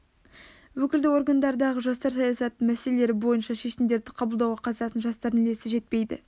өкілді органдардағы жастар саясатының мәселелері бойынша шешімдерді қабылдауға қатысатын жастардың үлесі жетпейді